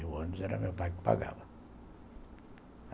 E o ônibus era meu pai que pagava.